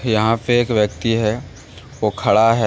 यहां पे एक व्यक्ति हैं वो खड़ा है।